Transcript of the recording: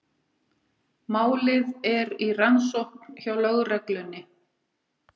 Málið er í rannsókn hjá lögreglunni